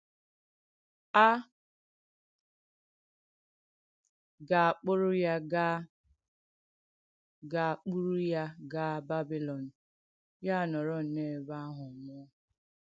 A ga-àkpùrù ya gaa ga-àkpùrù ya gaa Bàbìlòn, yà ánọ̀rọ̀ n’èbè àhụ̄ nwùọ̀.